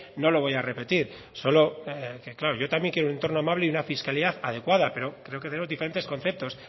no lo voy a repetir solo es que claro yo también quiero un entorno amable y una fiscalidad adecuada pero creo que tenemos diferentes conceptos